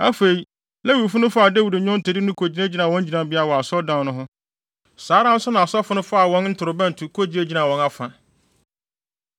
Afei, Lewifo no faa Dawid nnwontode no kogyinagyina wɔn gyinabea wɔ Asɔredan no ho. Saa ara nso na asɔfo no faa wɔn ntorobɛnto kogyinagyina wɔn afa.